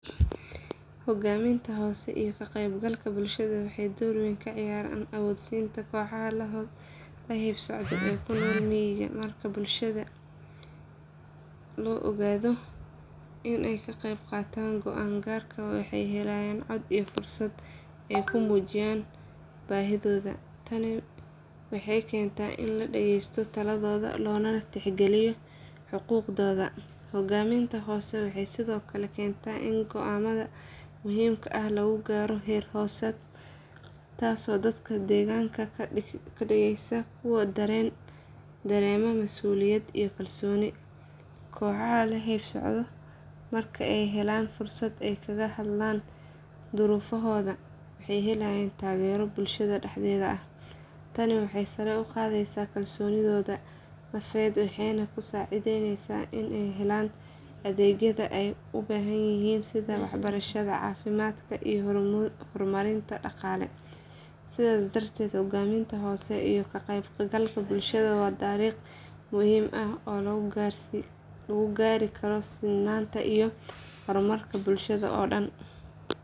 Hoggaanminta hoose iyo ka qaybgalka bulshada waxay door weyn ka ciyaaraan awoodsiinta kooxaha la hayb sooco ee ku nool miyiga. Marka bulshada loo oggolaado inay ka qaybqaataan go’aan gaarka waxay helayaan cod iyo fursad ay ku muujiyaan baahidooda. Tani waxay keentaa in la dhageysto taladooda loona tixgeliyo xuquuqdooda. Hoggaanminta hoose waxay sidoo kale keentaa in go’aannada muhiimka ah lagu gaaro heer hoosaad taasoo dadka deegaanka ka dhigaysa kuwo dareema mas’uuliyad iyo kalsooni. Kooxaha la hayb sooco marka ay helaan fursado ay kaga hadlaan duruufahooda waxay helayaan taageero bulshada dhexdeeda ah. Tani waxay sare u qaadaysaa kalsoonidooda nafeed waxayna ka saacidaysaa inay helaan adeegyada ay u baahan yihiin sida waxbarashada, caafimaadka iyo horumarinta dhaqaale. Sidaas darteed hoggaanminta hoose iyo ka qaybgalka bulshada waa dariiq muhiim ah oo lagu gaari karo sinnaanta iyo horumarka bulshada oo dhan.